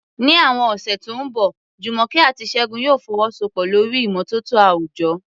Ní àwọn ọ̀sẹ̀ tó ń bọ̀, Jumoke àti Segun yóò fọwọ́sowọ́pọ̀ lórí ìmọ́tótó àwùjọ